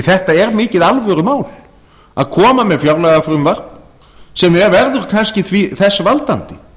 þetta er mikið alvörumál að koma með fjárlagafrumvarp sem verður kannski þess valdandi